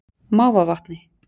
Mávavatni